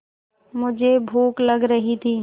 मुझे भूख लग रही थी